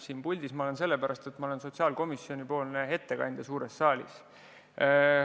Siin puldis ma olen sellepärast, et ma olen sotsiaalkomisjonipoolne ettekandja suures saalis.